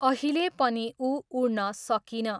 अहिले पनि उ उड्न सकिन।